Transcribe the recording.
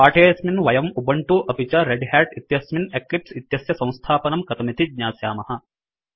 पाठेऽस्मिन् वयम् उबंटु अपि च रेड् ह्याट इत्यस्मिन् एक्लिपस् इत्यस्य सम्स्थापनं कथमिति ज्ञास्यामः